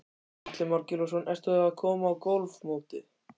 Atli Már Gylfason: Ertu að koma af golfmóti?